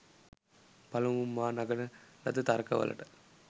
පළමුව මා නගන ලද තර්ක වලට